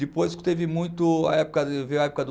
Depois que teve muito a época do veio a época do